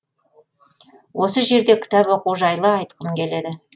осы жерде кітап оқу жайлы айтқым келеді